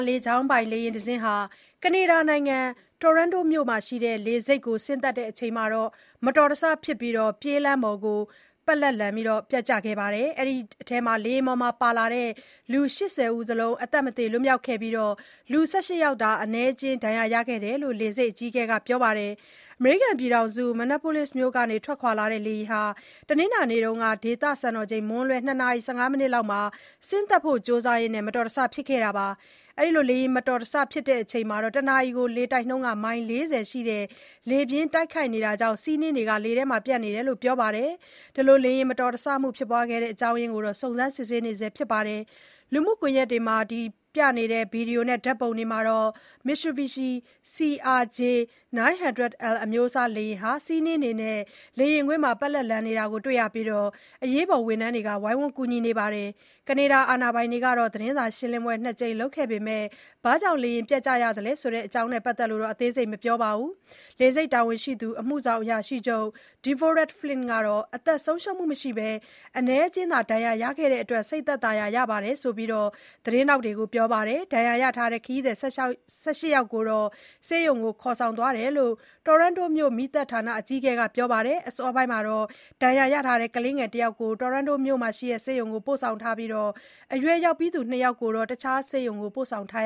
လေကြောင်းပိုင် လေယာဉ်တစင်းဟာ ကနေဒါနိုင်ငံ Toronto မြို့ရှိလေဆိပ်ကို ဆင်းသက်စဉ် မတော်တဆဖြစ်ပြီး ပြေးလမ်းပေါ်ကို ပက်လက်ပျက်ကျခဲ့ရာက လူ ၁၈ ယောက် ဒဏ်ရာရသွားပါတယ်။ လေယာဉ်ပေါ်မှာ လိုက်ပါလာတဲ့ လူ ၈၀ စလုံး အသက်မသေလွတ်မြောက်ခဲ့ပြီး လူ ၁၈ ယောက်သာ အနည်းအကျဉ်း ဒဏ်ရာရခဲ့တယ်လို့လည်း လေဆိပ်အကြီးအကဲက ပြောပါတယ်။ အမေရိကန်နိုင်ငံ Minneapolis မြို့ကထွက်ခွာလာတဲ့လေယာဉ်ဟာ တနင်္လာနေ့က ဒေသစံတော်ချိန် မွန်းလွဲ ၂ နာရီ ၁၅ မိနစ်လောက်မှာ ဆင်းသက်ဖို့ကြိုစားရင်း မတော်တဆမှုဖြစ်ခဲ့တာပါ။ လေယာဉ်မတော်တဆဖြစ်ချိန်မှာ တနာရီလေတိုက်နှုန်း မိုင် ၄၀ ရှိတဲ့ လေပြင်းတိုက်ခတ်နေတာကြောင့် ဆီးနှင်းတွေလည်း လေထဲမှာပျံ့နေတယ်လို့ ပြောပါတယ်။ လေယာဉ်မတော်တဆမှုဖြစ်စေတဲ့ အကြောင်းရင်းကိုတော့ စုံစမ်းစစ်ဆေးနေဆဲဖြစ်ပါတယ်။ လူမှုကွန်ယက်က ဗွီဒီယိုနဲ့ ဓာတ်ပုံတွေမှာတော့ Mitsubishi CRJ-900L အမျိုးအစား လေယာဉ်ဟာ ဆီးနှင်းတွေနဲ့ လေယာဉ်ကွင်းမှာ ပက်လက်လန်နေတာတွေ့ရပြီး အရေးပေါ် ဝန်ထမ်းတွေ ဝိုင်းဝန်း ကူညီနေတာ တွေ့ရပါတယ်။ ကနေဒါအာဏာပိုင်တွေက သတင်းစာရှင်းလင်းပွဲနှစ်ကြိမ်လုပ်ခဲ့ပေမဲ့ လေယာဉ်ပျက်ကျတဲ့အကြောင်း အသေးစိတ်တော့ မပြောပါဘူး။ လေဆိပ်တာဝန်ရှိသူ အမှုဆောင်အရာရှိချုပ် Deborah Flint ကတော့ အသက်ဆုံးရှုံးမှုမရှိဘဲ အနည်းအကျဉ်းသာ ဒဏ်ရာရခဲ့တာကြောင့် စိတ်သက်သာရာရတဲ့အကြောင်း သတင်းထောက်တွေကို ပြောပါတယ်။ ဒဏ်ရာရထားတဲ့ ခရီးသည် ၁၈ ယောက်ကို ဆေးရုံကို ခေါ်ဆောင်သွားတယ်လို့လည်း Toronto မြို့ မီးသတ်ဌာန အကြီးအကဲဖြစ်သူ Todd Aitken က ပြောပါတယ်။ အစောပိုင်းကတော့ ဒဏ်ရာရထားတဲ့ ကလေး တယောက်ကို Toronto မြို့ရှိ SickKids ဆေးရုံကိုပို့ထားပြီး အရွယ်ရောက်ပြီးသူ နှစ်ယောက်ကိုတော့ အခြားဆေးရုံကို ပို့ဆောင်ထား